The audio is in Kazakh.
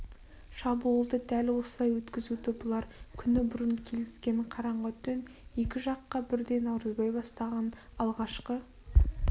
шабуылды дәл осылай өткізуді бұлар күні бұрын келіскен қараңғы түн екі жаққа бірдей наурызбай бастаған алғашқы